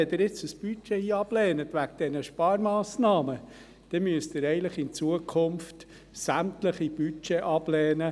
Wenn Sie jetzt das Budget ablehnen wegen der Sparmassnahmen, dann müssen Sie in Zukunft sämtliche Budgets ablehnen.